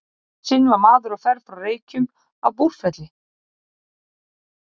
Eitt sinn var maður á ferð frá Reykjum að Búrfelli.